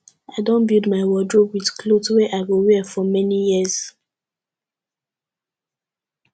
i don build my wardrobe wit clothes wey i go wear for many years